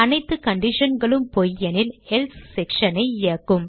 அனைத்து conditionகளும் பொய் எனில் எல்சே section ஐ இயக்கும்